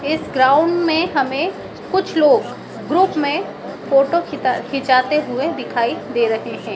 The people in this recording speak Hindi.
इस ग्राउंड में हमें कुछ लोग ग्रुप में फोटो खींचते हुए दिखाई दे रहे हैं।